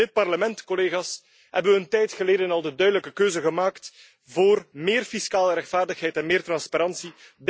In dit Parlement, collega's, hebben we een tijd geleden al de duidelijke keuze gemaakt voor meer fiscale rechtvaardigheid en meer transparantie.